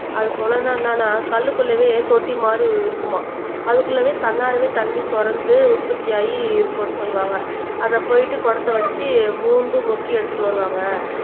அது சொனனா என்னன்னா கல்லுக்குள்ளேயே தொட்டி மாதிரி இருக்குமாம் அதுக்குள்ளவே தன்னாலவே தண்ணி சுரந்து உற்பத்தியாகி இருக்குன்னு சொல்லுவாங்க அதை போயிட்டு குடத்தை வச்சு மோந்து கொடுத்து எடுத்துட்டு வருவாங்க